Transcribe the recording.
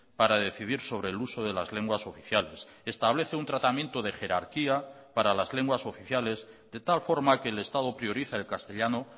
para decidir sobre el uso de las lenguas oficiales establece un tratamiento de jerarquía para las lenguas oficiales de tal forma que el estado prioriza el castellano